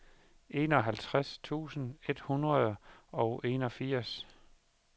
enoghalvtreds tusind et hundrede og enogfirs